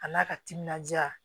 A n'a ka timinandiya